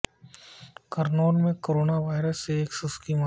کرنول میں corona virus سے ایک شخص کی موت